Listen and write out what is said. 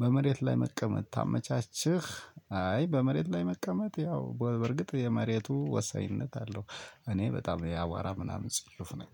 በመሬት ላይ መቀመጥ ታመቻቸህ አይ በመሬት ላይ መቀመጥ ያው በርግጥ የመሬቱ ወሳኝነት አለው። እኔ በጣም የአዋራ ምናምን ጽዮፍ ነኝ